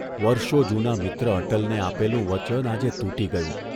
વર્ષો જૂના મિત્ર અટલને આપેલું વચન આજે તૂટી ગયું.